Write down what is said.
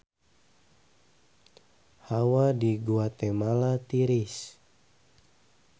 Hawa di Guatemala tiris